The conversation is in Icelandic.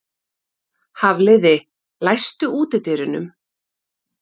Hafliði, læstu útidyrunum.